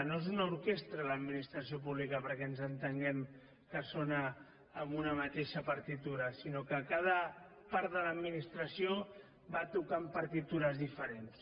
no és una orquestra l’administració pública perquè ens entenguem que sona amb una mateixa partitura sinó que cada part de l’administració va tocant partitures diferents